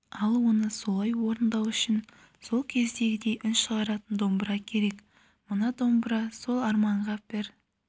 ал оны солай орындау үшін сол кездегідей үн шығаратын домбыра керек мына домбыра сол арманға бір